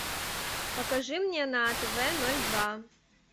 покажи мне на тв ноль два